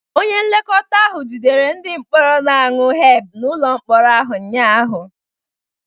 Onye nlekọta ahụ jidere ndị mkpọrọ na-aṅụ hemp n'ụlọ mkpọrọ ụnyaahụ